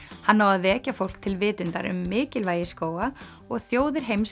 hann á að vekja fólk til vitundar um mikilvægi skóga og þjóðir heims